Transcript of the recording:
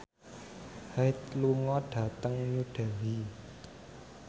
Hyde lunga dhateng New Delhi